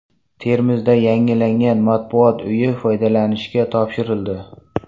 Termizda yangilangan Matbuot uyi foydalanishga topshirildi.